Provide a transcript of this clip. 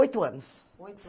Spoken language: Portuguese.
Oito anos. Oito